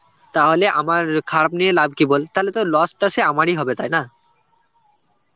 তাহলে আমার খারাপ নিয়ে লাভ কি বল? তালে তো loss টা সেই আমারই হবে তাই না?